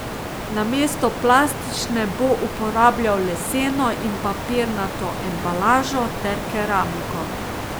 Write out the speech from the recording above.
Namesto plastične bo uporabljal leseno in papirnato embalažo ter keramiko.